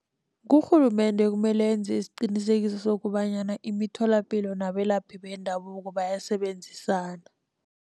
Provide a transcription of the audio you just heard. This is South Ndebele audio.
Ngurhulumende okumele enze isiqinisekiso sokobanyana imitholapilo nabelaphi bendabuko bayasebenzisana.